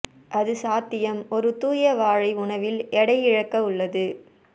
அது சாத்தியம் ஒரு தூய வாழை உணவில் எடை இழக்க உள்ளது